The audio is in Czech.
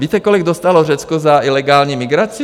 Víte, kolik dostalo Řecko za ilegální migraci?